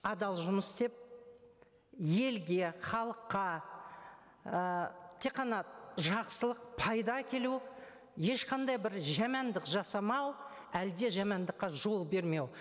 адал жұмыс істеп елге халыққа і тек қана жақсылық пайда әкелу ешқандай бір жамандық жасамау әлі де жамандыққа жол бермеу